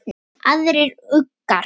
Aðrir uggar